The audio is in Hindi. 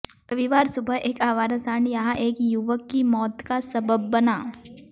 रविवार सुबह एक आवारा सांड यहां एक युवक की मौत का सबब बना